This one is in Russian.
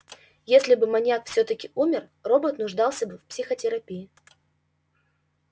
если бы маньяк всё-таки умер робот нуждался бы в психотерапии